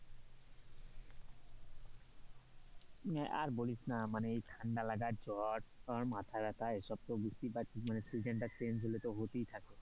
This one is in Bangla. আর বলিস না মানে ঠান্ডা লাগার জ্বর তোর মাথাব্যথা এসব তো বুঝতে পারছিস মানে season টা change হলে তো হতেই থাকে,